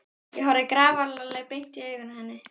Ég horfði grafalvarleg beint í augun á henni.